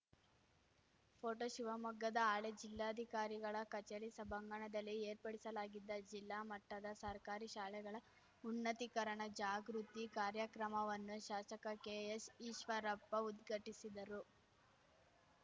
photo ಶಿವಮೊಗ್ಗದ ಹಳೆ ಜಿಲ್ಲಾಧಿಕಾರಿಗಳ ಕಚೇರಿ ಸಭಾಂಗಣದಲ್ಲಿ ಏರ್ಪಡಿಸಲಾಗಿದ್ದ ಜಿಲ್ಲಾ ಮಟ್ಟದ ಸರ್ಕಾರಿ ಶಾಲೆಗಳ ಉನ್ನತೀಕರಣ ಜಾಗೃತಿ ಕಾರ್ಯಕ್ರಮವನ್ನು ಶಾಸಕ ಕೆಎಸ್‌ ಈಶ್ವರಪ್ಪ ಉದ್ಘಟಿಸಿದರು